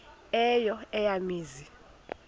eyo eya mizi